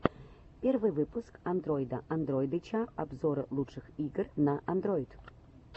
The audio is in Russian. первый выпуск андройда андройдыча обзоры лучших игр на андройд